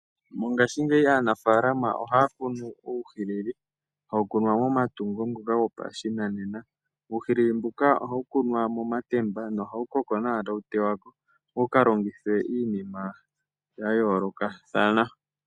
Mongashingeyi aanampapya ohaya kunu uuhilili. Hawu kunwa momatungo ngoka gopashinanena, uhilili mboka ohawu kunwa momatemba nohawu kokonawa e tawu tewa ko opo wuka longithwe iinima ya yoolokathana.